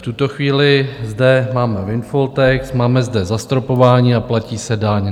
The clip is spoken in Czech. V tuto chvíli zde máme windfall tax, máme zde zastropování a platí se daň.